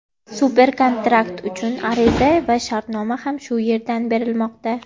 Super-kontrakt uchun ariza va shartnoma ham shu yerdan berilmoqda.